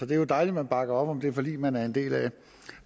det jo dejligt man bakker op om det forlig man er en del af